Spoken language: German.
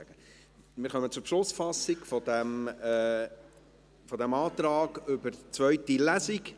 Wir kommen zur Beschlussfassung zu diesem Antrag über eine zweite Lesung.